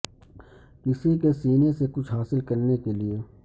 کسی کے سینے سے کچھ حاصل کرنے کے لئے